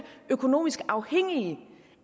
økonomisk afhængige